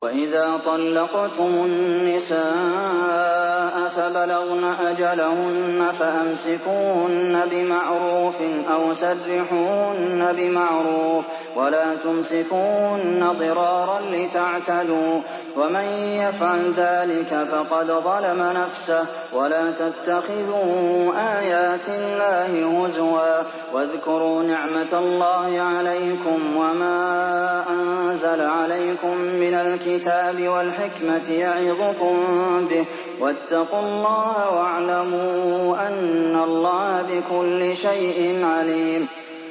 وَإِذَا طَلَّقْتُمُ النِّسَاءَ فَبَلَغْنَ أَجَلَهُنَّ فَأَمْسِكُوهُنَّ بِمَعْرُوفٍ أَوْ سَرِّحُوهُنَّ بِمَعْرُوفٍ ۚ وَلَا تُمْسِكُوهُنَّ ضِرَارًا لِّتَعْتَدُوا ۚ وَمَن يَفْعَلْ ذَٰلِكَ فَقَدْ ظَلَمَ نَفْسَهُ ۚ وَلَا تَتَّخِذُوا آيَاتِ اللَّهِ هُزُوًا ۚ وَاذْكُرُوا نِعْمَتَ اللَّهِ عَلَيْكُمْ وَمَا أَنزَلَ عَلَيْكُم مِّنَ الْكِتَابِ وَالْحِكْمَةِ يَعِظُكُم بِهِ ۚ وَاتَّقُوا اللَّهَ وَاعْلَمُوا أَنَّ اللَّهَ بِكُلِّ شَيْءٍ عَلِيمٌ